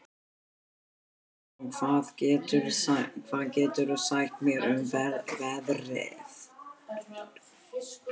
Anton, hvað geturðu sagt mér um veðrið?